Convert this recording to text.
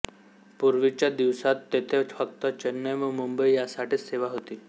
पूर्वीच्या दिवसात तेथे फक्त चेन्नई व मुंबई यासाठीच सेवा होती